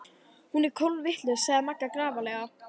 Hún er kolvitlaus sagði Magga grafalvarleg.